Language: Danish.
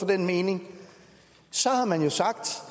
den mening så har man jo sagt